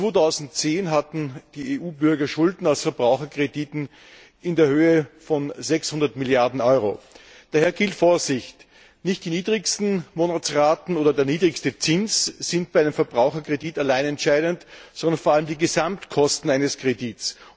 2010 hatten die EU Bürger Schulden aus Verbraucherkrediten in der Höhe von 600 Milliarden Euro. Daher gilt Vorsicht. Nicht die niedrigsten Monatsraten oder der niedrigste Zins sind bei einem Verbraucherkredit allein entscheidend, sondern vor allem die Gesamtkosten eines Kredits.